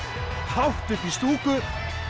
hátt upp í stúku